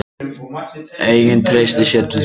Enginn treysti sér til að dæma.